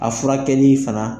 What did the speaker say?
A furakɛli fana.